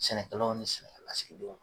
Sɛnɛkɛlaw ni sɛnɛkɛlasigidenw